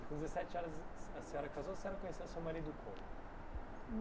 Com dezessete anos a senhora casou, a senhora conheceu o seu marido como?